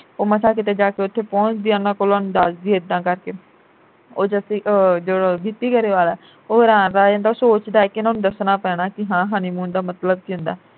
ਉਹ ਮਸਾਂ ਕਿਤੇ ਜਾ ਕੇ ਉਥੇ ਪਹੁੰਚਦੀ ਉਨ੍ਹਾਂ ਦੱਸਦੀ ਐ ਇੱਦਾਂ ਕਰਕੇ ਉਹ ਜੱਸੀ ਆਹ ਗਿੱਪੀ ਗਰੇਵਾਲ ਐ ਓਹ ਰਾਹ ਪੈ ਜਾਂਦਾ ਉਹ ਸੋਚਦਾ ਕਿ ਇਨ੍ਹਾਂ ਨੂੰ ਦੱਸਣਾ ਪੈਣਾ ਕਿ ਹਾਂ honeymoon ਦਾ ਮਤਲਬ ਕੀ ਹੁੰਦਾ